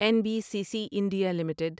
N B C C India limited